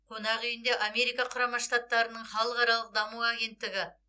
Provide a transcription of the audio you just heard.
қонақ үйінде америка құрама штаттарының халықаралық даму агенттігі